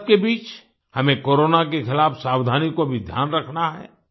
इस सबके बीच हमें कोरोना के खिलाफ सावधानी को भी ध्यान रखना है